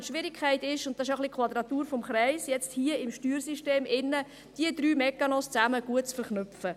Die Schwierigkeit ist – und das ist auch ein wenig die Quadratur des Kreises –, diese drei Mechanismen im Steuersystem gut zu verknüpfen: